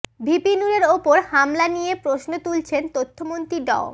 VP নুরের ওপর হামলা নিয়ে প্রশ্ন তুলেছেন তথ্যমন্ত্রী ড